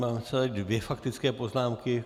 Mám tady dvě faktické poznámky.